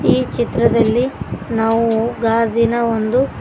ಈ ಚಿತ್ರದಲ್ಲಿ ನಾವು ಗಾಜಿನ ಒಂದು--